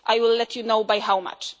you. I will let you know by how